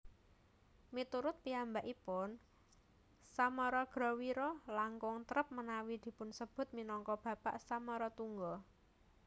Miturut piyambakipun Samaragrawira langkung trep menawi dipunsebut minangka bapak Samaratungga